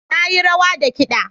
Na yi rawa da kiɗa.